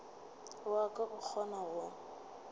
wa ka o kgonago go